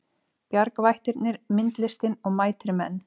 Bjargvættirnir myndlistin og mætir menn